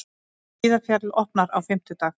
Hlíðarfjall opnar á fimmtudag